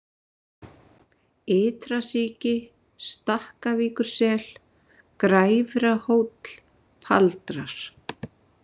Ytrasíki, Stakkavíkursel, Græfrahóll, Paldrar